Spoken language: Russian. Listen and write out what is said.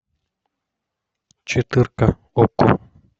четырка окко